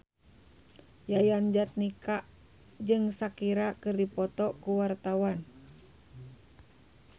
Yayan Jatnika jeung Shakira keur dipoto ku wartawan